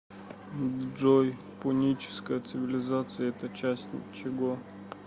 джой пуническая цивилизация это часть чего